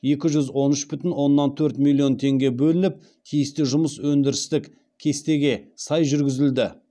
екі жүз он үш бүтін оннан төрт миллион теңге бөлініп тиісті жұмыс өндірістік кестеге сай жүргізілді